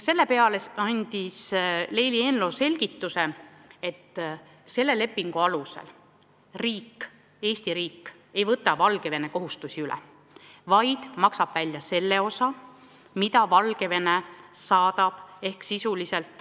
Selle peale andis Leili Eenlo selgituse, et selle lepingu alusel Eesti riik ei võta Valgevene kohustusi üle, vaid maksab välja raha, mida Valgevene saadab.